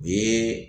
U ye